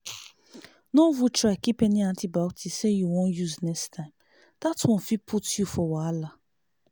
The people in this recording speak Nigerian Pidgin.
no even try keep any antibiotics say you wan use next time that one fit put you for wahala.